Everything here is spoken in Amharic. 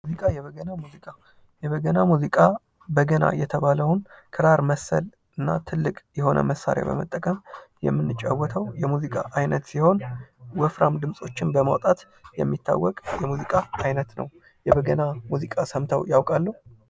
የበገና ሙዚቃ በገና የተባለውን ክራር መሰልና ትልቅ የሆነ መሳርያ በመጠቀም የሙዚቃ አይነት ሲሆን ወፍራም ድምፆችን በማምጣት የሚታወቅ የሙዚቃ አይነት ነው። የበገና ሙዚቃ ሰምተው ያውቃሉ?